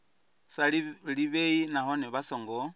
sa ḓivhei nahone vha songo